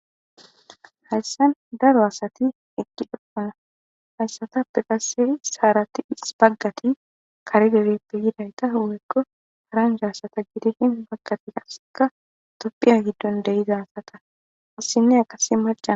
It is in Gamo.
hayssan daro asati eqqi doppuna hayssatappe qasiri saarati his baggati karidebeppe yidayta howekko haranjaasata gidishin baggati asseka toppiya giddon deyiza asata issinne qase maca